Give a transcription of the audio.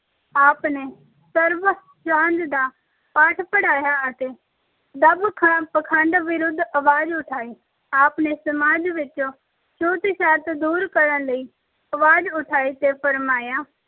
ਆਪ ਨੇ ਸਰਬ- ਸਾਂਝ ਦਾ ਪਾਠ ਪੜਾਇਆ ਤੇ ਦੰਭ-ਖੰਡ ਅਹ ਪਖੰਡ ਵਿਰੁੱਧ ਅਵਾਜ਼ ਉਠਾਈ। ਆਪ ਨੇ ਸਮਾਜ ਵਿੱਚੋਂ ਛੂਤ-ਛਾਤ ਦੂਰ ਕਰਨ ਲਈ ਅਵਾਜ਼ ਉਠਾਈ ਤੇ ਫੁਰਮਾਇਆ